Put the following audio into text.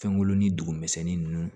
Fɛnko ni dugumisɛnɛnnin ninnu